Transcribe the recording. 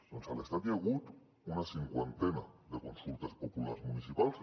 doncs a l’estat hi ha hagut una cinquantena de consultes populars municipals